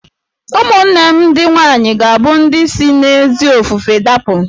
Ụmụnne m ndị nwaanyị ga-abụ ndị si n'ezi ofufe dapụ